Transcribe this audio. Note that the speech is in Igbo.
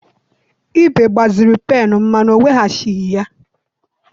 Ibe gbaziri pennụ m mana ọ weghachighi ya.